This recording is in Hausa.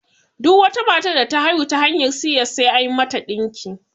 Duk matar da ta haihu ta hanyar si ƴes sai an mata ɗinki